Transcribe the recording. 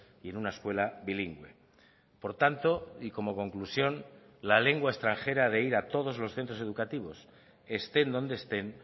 y en una escuela bilingüe por tanto y como conclusión la lengua extranjera de ir a todos los centros educativos estén donde estén